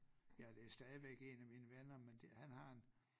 Ja det stadigvæk en af mine venner men det han har en